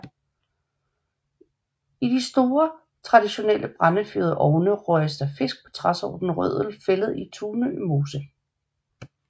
I de store traditionelle brændefyrede ovne røges der fisk på træsorten rødel fældet i Tunø Mose